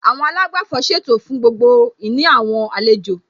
Àwọn àlágbàfọ̀ ṣètò fún gbogbo ìní àwọn àlejò